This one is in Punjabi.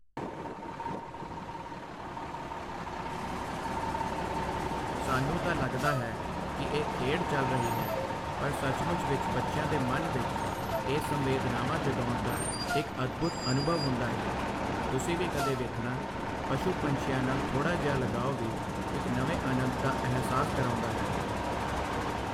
ਸਾਨੂੰ ਤਾਂ ਲੱਗਦਾ ਹੈ ਕਿ ਇਹ ਖੇਡ ਚੱਲ ਰਹੀ ਹੈ ਪਰ ਸਚਮੁੱਚ ਵਿੱਚ ਬੱਚਿਆਂ ਦੇ ਮਨ ਵਿੱਚ ਇਹ ਸੰਵੇਦਨਾਵਾਂ ਜਗਾਉਣ ਦਾ ਇਕ ਅਦਭੁਦ ਅਨੁਭਵ ਹੁੰਦਾ ਹੈ, ਤੁਸੀਂ ਵੀ ਕਦੇ ਵੇਖਣਾ ਪਸ਼ੂ ਪੰਛੀਆਂ ਨਾਲ ਥੋੜਾ ਜਿਹਾ ਲਗਾਓ ਵੀ ਇਕ ਨਵੇਂ ਆਨੰਦ ਦਾ ਅਹਿਸਾਸ ਕਰਾਉਂਦਾ ਹੈ।